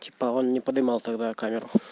типа он не поднимал тогда камеру